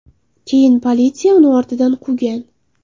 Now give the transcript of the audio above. Keyin politsiya uni ortidan quvgan.